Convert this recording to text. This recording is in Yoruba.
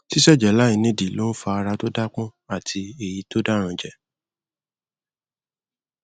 ṣíṣẹjẹ láì nídìí ló ń fa ara tó dápọn àti èyí tó dáranjẹ